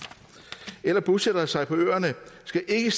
eller bosætte sig på øerne skal ikke